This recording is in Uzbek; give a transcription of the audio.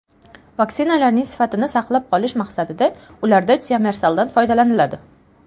Vaksinalarning sifatini saqlab qolish maqsadida ularda tiomersaldan foydalaniladi.